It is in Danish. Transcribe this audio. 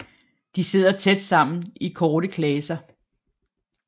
De sidder tæt sammen i korte klaser